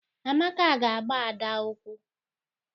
Amaka ga agba Ada ụkwụ.